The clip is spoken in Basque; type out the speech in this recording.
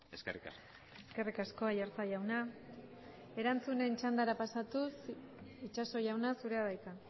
eskerrik asko eskerrik asko aiartza jauna erantzunen txandara pasatuz itxaso jauna zurea da hitza